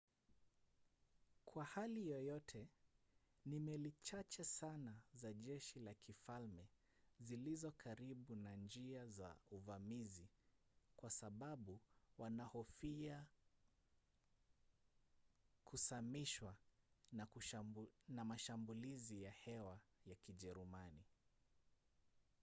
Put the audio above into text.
kwa hali yoyote ni meli chache sana za jeshi la kifalme zilizo karibu na njia za uvamizi kwa sababu wanahofia kusamishwa na mashambulizi ya hewa ya kijerumani